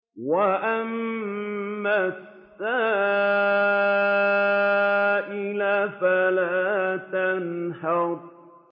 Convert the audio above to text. وَأَمَّا السَّائِلَ فَلَا تَنْهَرْ